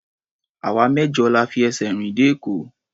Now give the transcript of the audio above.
Àwa mẹ́jọ la fi ẹsẹ̀ rìn dé Èkó.